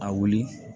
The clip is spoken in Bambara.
A wuli